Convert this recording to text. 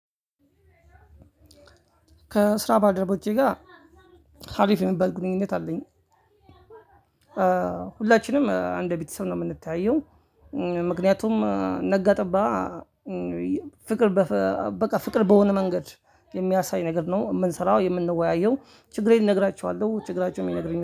ከ ስራ ባልደረቦቼጋ ሀሪፍ የሚባል ግንኙነት አለኝ። ሁላችንም አንድ ቤተሰብ ነው ምንተያየው። ምክንያቱም ነጋ ጠባ። ፍቅር በቃ ፍቅር በሆነ መንገድ የሚያሳይ ነገር ነው። ምንሰራው የምንወያየው ችግሬን እነግራቸዋለው ችግራቸውም ይነግሩኛል